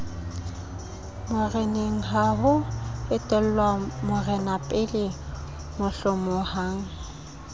morenengha ho etellwa morenapele mohlomongha